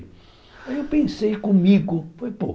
Aí eu pensei comigo, foi pouco.